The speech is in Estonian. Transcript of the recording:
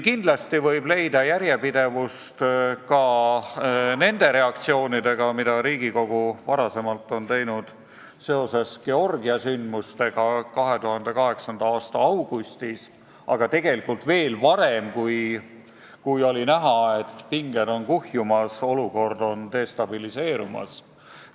Kindlasti võib leida järjepidevust ka Riigikogu reaktsioonidega, mis olid seoses Georgia sündmustega 2008. aasta augustis, aga tegelikult veel varem, kui oli näha, et pinged on kuhjumas ja olukord on destabiliseerumas.